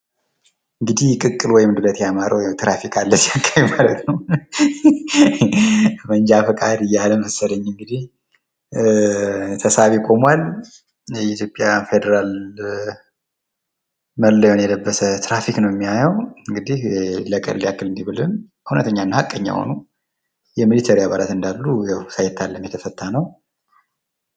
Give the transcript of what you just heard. እንግዲህ ቅቅል ወይም ዱለት ያማረው ያው ትራፊክ አለ እዚህ አካባቢ ማለት ነው።“መንጃ ፈቃድ” እያለ መሰለኝ እንግዲህ። ተሳቢ ቆሟል። የኢትዮጵያ ፌደራል መለያውን የለበሰ ትራፊክ ነው የሚያየው። እንግዲህ ለቀልድ ያክል እንዲህ ብልም እውነተኛና ሀቀኛ የሆኑ የሚሊተሪ አባላት እንዳሉ ያው ሳይታለም የተፈታ ነው።